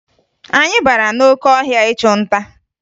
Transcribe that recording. Anyị bara n'oke ọhịa ịchụ nta